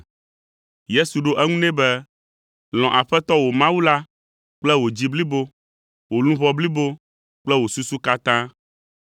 Yesu ɖo eŋu nɛ be, “Lɔ̃ Aƒetɔ wò Mawu la kple wò dzi blibo, wò luʋɔ blibo kple wò susu katã.